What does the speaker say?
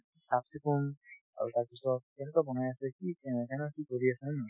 চাফ-চিকুণ আৰু তাৰপিছত কেনেকুৱা বনাই আছে কি অ কেনেদৰে কি কৰি আছে হয়নে নহয়